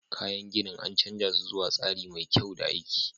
Kayan ginin, an canza su zuwa tsari mai kyau da aiki.